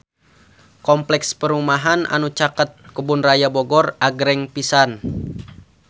Kompleks perumahan anu caket Kebun Raya Bogor agreng pisan